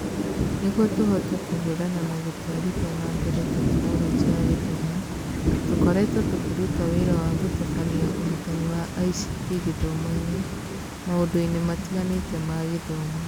Nĩguo tũhote kũhũrana na gũtwarithia na mbere tekinoronjĩ ya gĩthomo, tũkoretwo tũkĩruta wĩra wa gũtabania ũrutani wa ICT gĩthomo-inĩ maũndũ-inĩ matiganĩte ma gĩthomo